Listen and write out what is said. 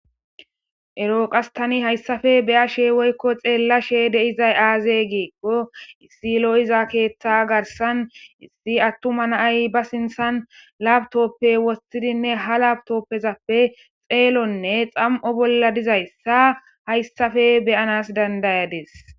eroo qas tani hayssafe be'ashe woykko xeellashe de'izay aaze giikko issi lo'iza keeththa garsan issi attuma na'ay ba sinthan labtoppe woththidinne ha labtoppezappe xeelonne xam'o bolla dizayssa hayssafe beyanas dandayadis